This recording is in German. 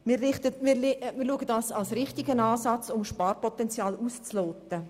Wir sehen dies als den richtigen Ansatz, um Sparpotenzial auszuloten.